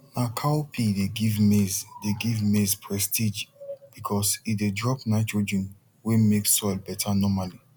na cowpea dey give maize dey give maize prestige because e dey drop nitrogen wey make soil better normally